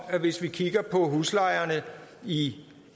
at hvis vi kigger på huslejerne i